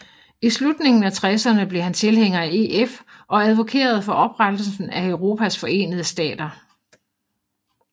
I slutningen af tresserne blev han tilhænger af EF og advokerede for oprettelsen af Europas Forenede Stater